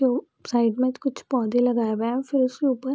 लोग साइड में कुछ पौधे लगाया हुआ हैं फिर उसके ऊपर --